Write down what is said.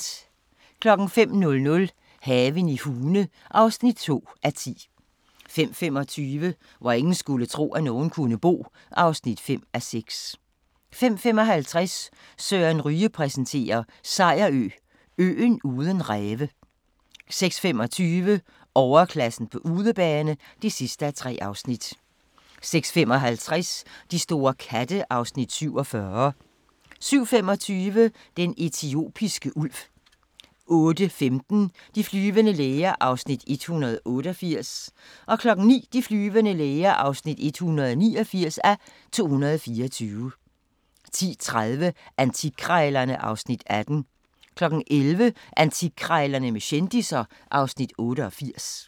05:00: Haven i Hune (2:10) 05:25: Hvor ingen skulle tro, at nogen kunne bo (5:6) 05:55: Søren Ryge præsenterer: Sejerø – øen uden ræve 06:25: Overklassen på udebane (3:3) 06:55: De store katte (Afs. 47) 07:25: Den etiopiske ulv 08:15: De flyvende læger (188:224) 09:00: De flyvende læger (189:224) 10:30: Antikkrejlerne (Afs. 18) 11:00: Antikkrejlerne med kendisser (Afs. 88)